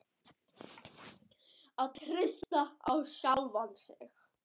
Að treysta á sjálfan sig.